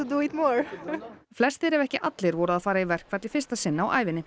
flestir ef ekki allir voru að fara í verkfall í fyrsta sinn á ævinni